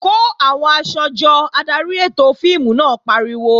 Kó àwọn aṣọ jọ! Adarí ètò fíìmù náà pariwo.